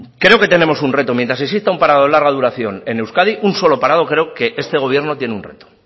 creo que tenemos un reto mientras exista un parado de larga duración en euskadi un solo parado creo que este gobierno tiene un reto